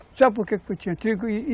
Sabe por que que eu tinha tiro?